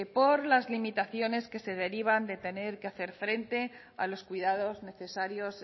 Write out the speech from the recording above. por las limitaciones que se derivan de tener que hacer frente a los cuidados necesarios